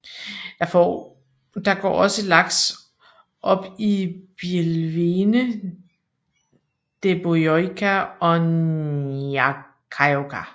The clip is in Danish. Der går også laks op i bielvene Dæbbojohka og Njáhkájohka